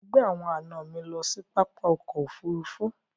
Mọ̀ gbẹ awọn ẹna mi lọ sí pápá ọkọ̀ òfurufú.